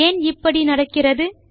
ஏன் இப்படி நடக்கிறது